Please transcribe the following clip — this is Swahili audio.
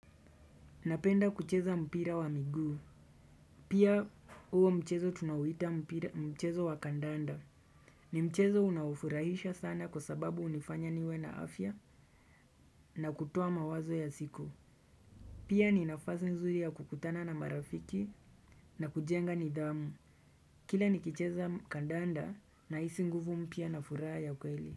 Napenda kucheza mpira wa miguu. Pia huo mchezo tunauita mchezo wa kandanda. Ni mchezo unaofurahisha sana kwa sababu hunifanya niwe na afya na kutoa mawazo ya siku. Pia ni nafasi nzuri ya kukutana na marafiki na kujenga nidhamu. Kila nikicheza kandanda nahisi nguvu mpya na furaha ya kweli.